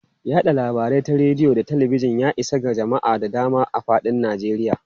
Yada labarai ta rediyo da talabijin, ya isa ga jama'a da dama a fadin Najeriya.